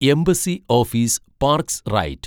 embassy office parks right